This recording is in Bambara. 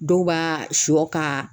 Dɔw b'a siyɔ ka.